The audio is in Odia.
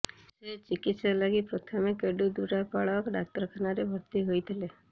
ସେ ଚିକିତ୍ସା ଲାଗି ପ୍ରଥମେ କେଡ୍ଡିଦୁରାପାଳ ଡାକ୍ତରଖାନାରେ ଭର୍ତ୍ତି ହୋଇଥିଲେ